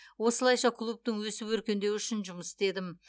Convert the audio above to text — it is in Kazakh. осылайша клубтың өсіп өркендеуі үшін жұмыс істедім